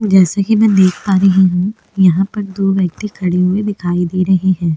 जैसे की में यहाँ देख पा रही हुँ यहाँ पर दो व्यक्ति खड़े हुए दिखाई दे रहे है।